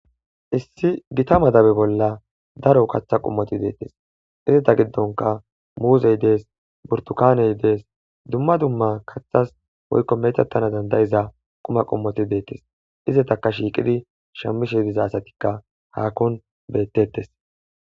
issi gita madabe bolla daro kaththa qummoti deettes izeta giddonka muuzey dees burtukaaney dees dumma dumma kathas hoykko metattana dandayiza quma qummoti deettes izetaka shiiqidi shammishe diza asatikka haakon bettettes